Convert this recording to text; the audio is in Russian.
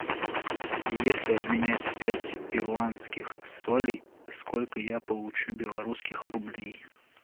если обменять пять перуанских солей сколько я получу белорусских рублей